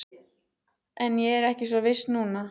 En ég er ekki svo viss núna